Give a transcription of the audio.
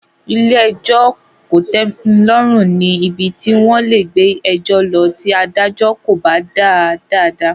Ilé-ẹjọ kò tẹmi lọ́rùn ní ibi tí wón lè gbé ẹjọ lọ tí adájọ́ kò bá dá a dáadáa.